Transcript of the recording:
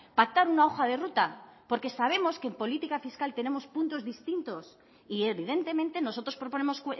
pactar una hoja de ruta porque sabemos que en política fiscal tenemos puntos distintos y evidentemente nosotros proponemos